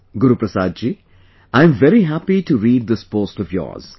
Guruprasad ji, I am very happy to read this post of yours